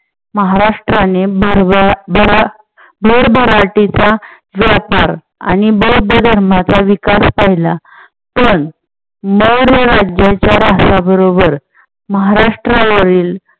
महाराष्ट्राने जेव्हा भरभराटीचा व्यापार आणि बौद्ध धर्माचा विकास पहिला पण मौर्य राज्याच्या राष्ट्राबरोबर महाराष्ट्रावरील